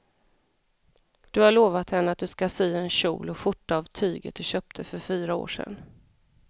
Du har lovat henne att du ska sy en kjol och skjorta av tyget du köpte för fyra år sedan.